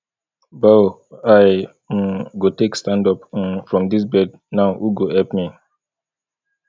bow i um go take stand up um from dis bed now who go help me